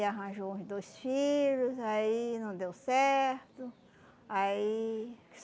arranjou uns dois filhos, aí não deu certo. Aí